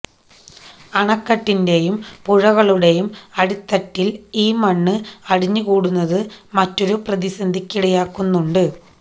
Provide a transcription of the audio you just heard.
അണക്കെട്ടിന്റെയും പുഴകളുടെയും അടിത്തട്ടില് ഈ മണ്ണ് അടിഞ്ഞുകൂടുന്നത് മറ്റൊരു പ്രതിസന്ധിക്കിടയാക്കുന്നുണ്ട്